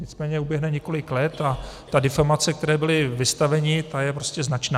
Nicméně uběhne několik let a ta deformace, které byli vystaveni, ta je prostě značná.